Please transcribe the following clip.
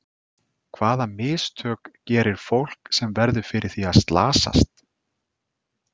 Hvaða mistök gerir fólk sem verður fyrir því að slasast?